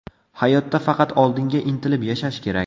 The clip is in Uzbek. Hayotda faqat oldinga intilib yashash kerak.